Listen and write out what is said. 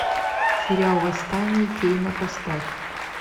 сериал восстание кейна поставь